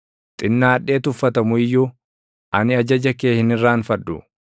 Xinnaadhee tuffatamu iyyuu, ani ajaja kee hin irraanfadhu.